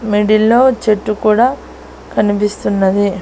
Middle లో చెట్టు కూడా కనిపిస్తున్నది.